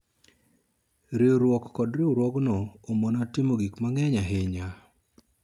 riwruok kod riwruogno omona timo gik mang'eny ahinya